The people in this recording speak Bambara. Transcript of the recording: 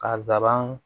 Ka laban